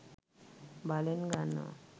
බලෙන් ගන්නවා.